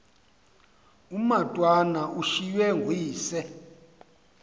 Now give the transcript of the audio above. umatwana ushiywe nguyise